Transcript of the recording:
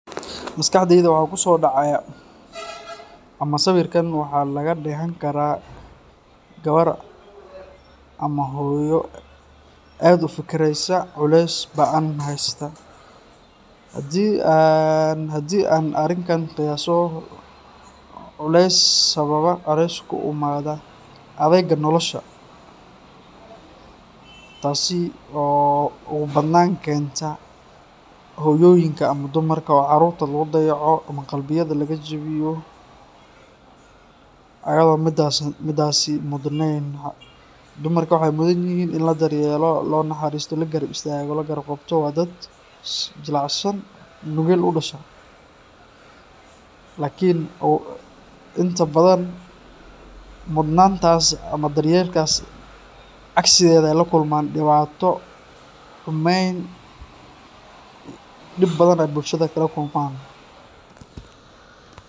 Maskaxdeyda waxaa kusoo dhacaya ama sawirkan waxaa laga deehan karaa gawar ama hooyo aad ufikireysa culees baan heysta hadii aan hadii aan arinkan qiyaaso culees sababa culees kuimaada adeega nolosha taasi oo ugun badnaan keenta hoyooyinka ama dumarka oo caruurta lagu dayaco ,niyada laga jawiyo ayadoo midaasi mudneyn. Dumarka waxeey mudan yihiin in la daryeelo ,loo naxaristo ,la garab istaago, la garab qabto ,waa dad jilicsan nugeel udhashay ,lakin inta badan mudnaantaas ama daryeel kaas cagsigeeda eey la kulmaan ,xumeyn ,dhib badan ayeey bulshada kala kulmaan .